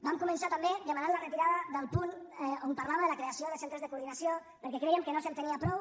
vam començar també demanant la retirada del punt on parlava de la creació de centres de coordinació perquè crèiem que no s’entenia prou